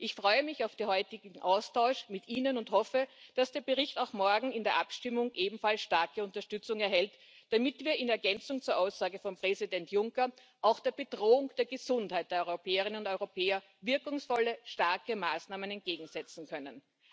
Ich freue mich auf den heutigen Austausch mit ihnen und hoffe, dass der Bericht auch morgen in der Abstimmung ebenfalls starke Unterstützung erhält, damit wir in Ergänzung zur Aussage von Präsident Juncker auch der Bedrohung der Gesundheit der Europäerinnen und Europäer wirkungsvolle, starke Maßnahmen entgegensetzen können.